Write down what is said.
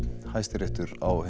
Hæstiréttur á